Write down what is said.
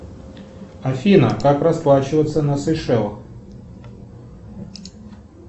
афина как расплачиваться на сейшелах